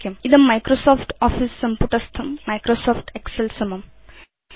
इदं Microsoft office सम्पुटस्थं Microsoft Excel समम्